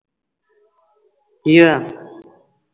ਕੀ ਹੋਇਆ